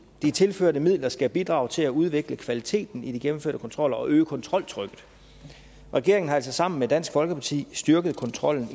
de tilførte midler skal bidrage til at udvikle kvaliteten i de gennemførte kontroller og øge kontroltrykket regeringen har altså sammen med dansk folkeparti styrket kontrollen